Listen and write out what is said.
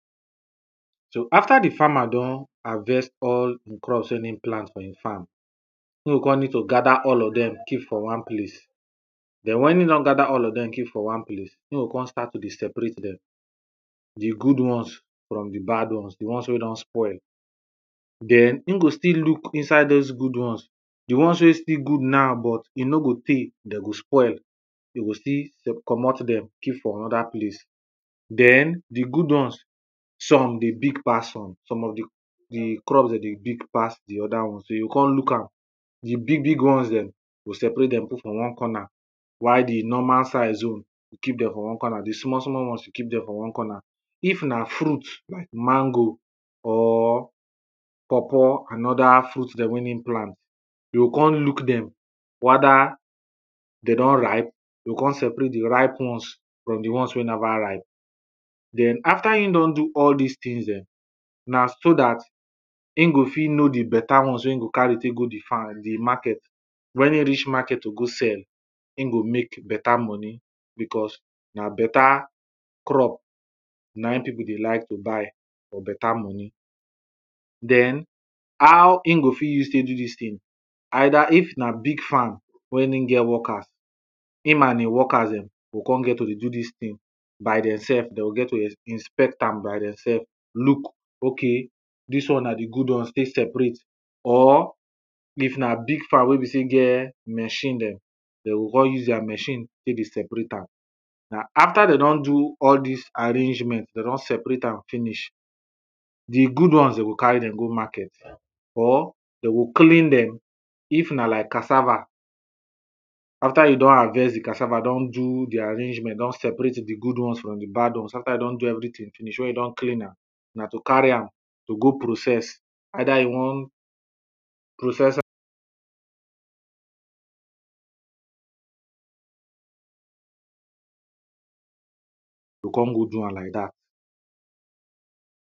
so after di farmer don harvest all di crops wen e plant for im farm, e go kon need to gather all of them keep for one place den wen e don gather all of dem keep for one place, e go kon start to dey separate dem di good ones from di bad ones di ones wey don spoil. den im go still look inside those ones di ones wey still good now but e no go tey dem go spoil de go still comot them keep for another place. den di good ones some dey big pass some, some of di di crops de dey big pass the other ones, you go con look am di big big ones dem, you go separate them put for one corner while di normal size own, you keep den for one corner, di small small ones, you keep dem for one corner. if na fruit like mango or pawpaw another fruit dem wen e plant, you o con look dem weda dey don ripe you go con separate di ripe ones from di one wey neva ripe. den after e don do all dis things dem na so dat im go fit know di beta ones wen e go carry take go di farm di market, wen e reach market to go sell, im go make beta money, because na beta crop na im people dey like to buy for beta money. den how e go fit use take do dis thing, either if na big farm, wen e get workers, him and e workers dem go con get to dey do dis thing by dem self de go get to dey inspect am by dem self look ok dis one na di good ones stay separate or if na big farm wey be say e get machine dem, dey o con use their machine take dey separate am. Na after dey don do all this arrangement dey don separate am finish the good ones dey go carry Dem go market or they go clean them if na like cassava after you don harvest the cassava don do their arrangement don separate the good ones from the bad ones after you don do everything finish, when you don clean am na to carry am to go process either in one process you go con go do am like dat.